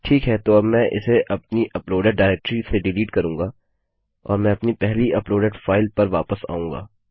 ठीक है तो मैं अब इसे अपनी अपलोडेड डाइरेक्टरी से डिलीट करूँगा और मैं अपनी पहली अपलोडेड फाइल पर वापस आऊँगा